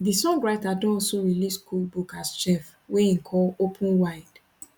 di songwriter don also release cookbook as chef wey im call open wide